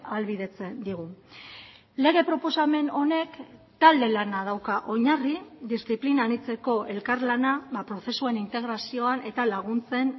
ahalbidetzen digu lege proposamen honek talde lana dauka oinarri diziplina anitzeko elkarlana prozesuen integrazioan eta laguntzen